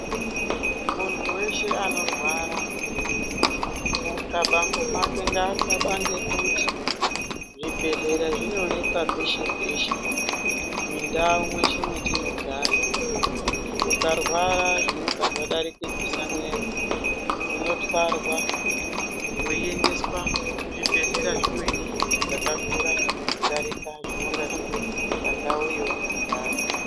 Muntu weshe anorwara mutwabango make ngatwabange kuti zvibhedhlera zvinoonekwa peshe peshe mundau mweshe mwatinogara ukarwara zvinenge zvadarikidzisa mwero unotwarwa weiendeswa kuzvibhedhlera zvimweni zvakakura kudarika zvinonga zviripo pandau yaunogara.